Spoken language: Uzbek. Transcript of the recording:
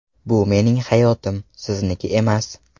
Bu mening hayotim, sizniki emas!!